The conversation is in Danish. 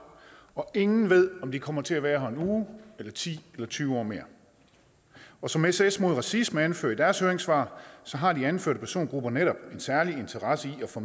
og ingen ved om de kommer til at være her en uge eller ti år mere og som sos mod racisme anfører i deres høringssvar har de anførte persongrupper netop en særlig interesse i at få